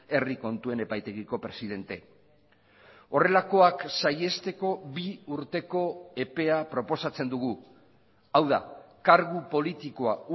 herri kontuen epaitegiko presidente horrelakoak saihesteko bi urteko epea proposatzen dugu hau da kargu politikoa